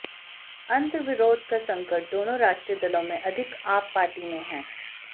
अंतर्विरोध का संकट दोनों राष्ट्रीय दलों से अधिक आप पार्टी में है